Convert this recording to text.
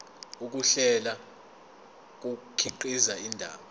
ukuhlela kukhiqiza indaba